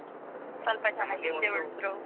ಸ್ವಲ್ಪ ಜನ ಹಿಂದೆ ಉಳಿದ್ರು .